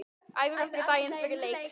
Æfir aldrei daginn fyrir leik.